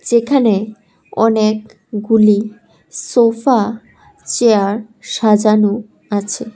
যেখানে অনেকগুলি sofa chair সাজানো আছে।